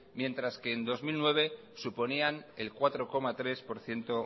mientras que en dos mil nueve suponían el cuatro coma tres por ciento